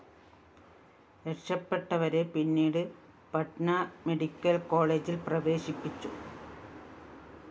രക്ഷപെട്ടവരെ പിന്നീട് പട്ന മെഡിക്കൽ കോളജില്‍ പ്രവേശിപ്പിച്ചു